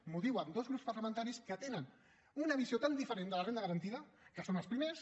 m’ho diuen dos grups parlamentaris que tenen una visió tan diferent de la renda garantida que són els primers